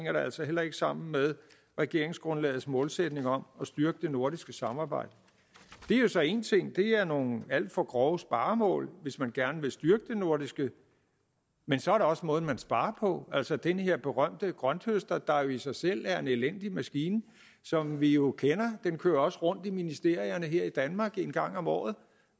altså heller ikke sammen med regeringsgrundlagets målsætning om at styrke det nordiske samarbejde det er jo så én ting det er nogle alt for grove sparemål hvis man gerne vil styrke det nordiske men så er der også måden man sparer på altså den her berømte grønthøster der i sig selv er en elendig maskine og som vi jo kender den kører også rundt i ministerierne her i danmark en gang om året